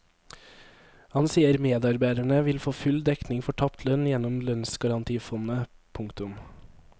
Han sier medarbeiderne vil få full dekning for tapt lønn gjennom lønnsgarantifondet. punktum